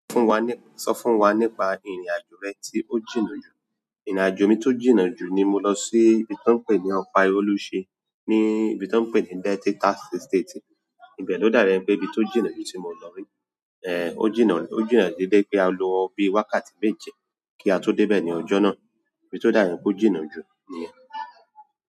Fún wa nípa, sọ fún wa nípa ìrìn-àjò rẹ tí ó jìnnà jù. Ìrìn-àjò mi tó jìnnà jù ni mo lọ sí ibi tan ń pè ní Ọ̀bá Oluṣe ni ibi tan ń pè ní Delta State. Ibẹ̀ ló dá bi ẹni pẹ́ ibi tó jìnnà jù tí mo lọ rí. Ò jínnà, ò jínnà dé bi wipé a lo bí i wákàtí méje kí a tó dé ibẹ̀ ní ọjọ́ náà. Ibi tí ó dá bi ẹni pe ọ̀ jìnnà jù nìyẹn.